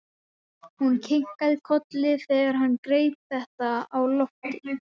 Hún kinkaði kolli þegar hann greip þetta á lofti.